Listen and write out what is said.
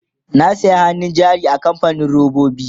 na saya hannun jari a kamfanin robobi